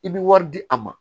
I bɛ wari di a ma